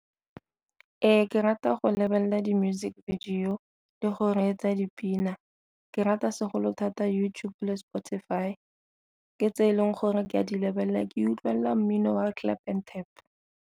Ke rata go lebelela di-music video le go reetsa dipina, ke rata segolo thata YouTube le Spotify ke tse e leng gore ke a di lebelela ke utlwelela mmino wa clap and tap.